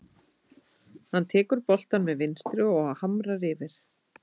Hann tekur boltann með vinstri og hamrar yfir.